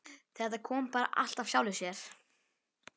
Þetta kom bara allt af sjálfu sér.